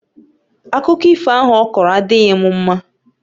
Akụkọ ifo ahụ ọkọrọ adịghị m mma